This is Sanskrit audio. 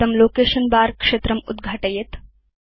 इदं लोकेशन बर क्षेत्रम् उद्घाटयेत्